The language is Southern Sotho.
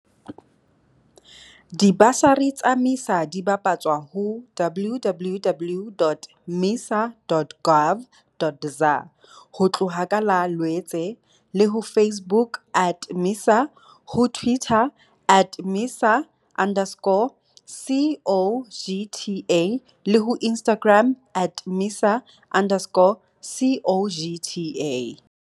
Dibasari tsa MISA di bapatswa ho www.misa.gov.za ho tloha ka Lwetse, le ho Facebook at MISA, ho Twitter at MISA underscore CoGTA le ho Instagram at MISA underscore CoGTA.